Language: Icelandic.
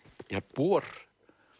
bor